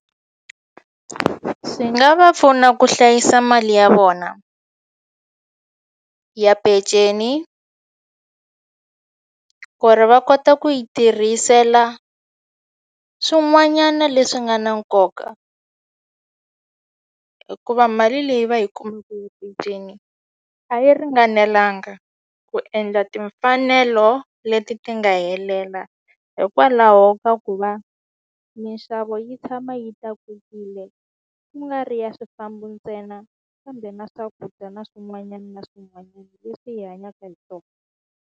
Swi nga va pfuna ku hlayisa mali ya vona ya peceni ku ri va kota ku yi tirhisela swin'wanyana leswi nga na nkoka hikuva mali leyi va yi peceni a yi ringanelanga ku endla timfanelo leti ti nga helela hikwalaho ka ku ku va minxavo yi tshama yi tlakukile ku nga ri ya swifambo ntsena kambe na swakudya na swin'wanyana na leswi hi hanyaka hi swona.